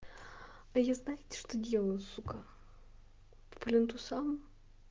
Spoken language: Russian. а я знаете что делаю сука к плинтусам